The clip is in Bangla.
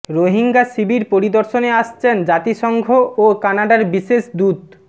রোহিঙ্গা শিবির পরিদর্শনে আসছেন জাতিসংঘ ও কানাডার বিশেষ দূত